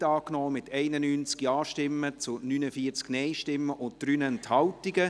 Sie haben den Antrag der GSoK-Mehrheit angenommen, mit 91 Ja- gegen 49 Nein-Stimmen bei 3 Enthaltungen.